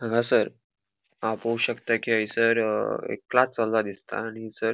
हांगासर हाव पोवो शकता की हैसर अ ए क्लास चल्ला दिसता आणि हैसर --